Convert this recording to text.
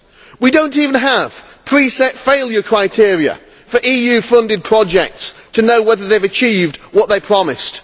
We do not even have pre set failure criteria for EU funded projects to know whether they have achieved what they promised.